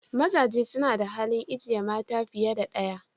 Mazaje suna da halin ijeye mata fiye da daya.